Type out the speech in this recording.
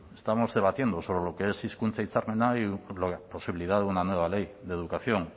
estamos debatiendo sobre lo que es hizkuntza hitzarmena y la posibilidad de una nueva ley de educación